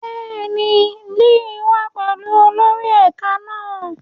Bẹ́ẹ̀ni, Lily wa pẹlu olori ẹka náa